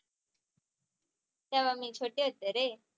तेव्हा मी छोटे होते रे